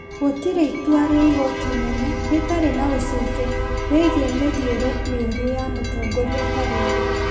Gũtirĩ itua rĩa igoti inene rĩtarĩ na ũcuke rĩgiĩ mĩthiĩre mĩũru ya mũtongoria ta rĩu.